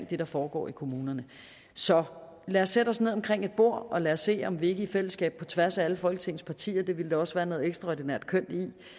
det der foregår i kommunerne så lad os sætte os ned omkring et bord og lad os se om vi ikke i fællesskab på tværs af alle folketingets partier det ville der også være noget ekstraordinært kønt